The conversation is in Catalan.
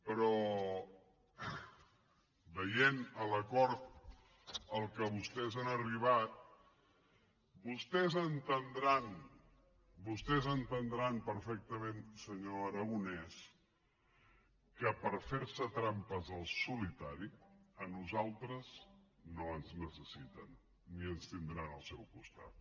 però veient l’acord a què vostès han arribat vostès deuen entendre perfectament senyor aragonès que per fer se trampes al solitari a nosaltres no ens necessiten ni ens tindran al seu costat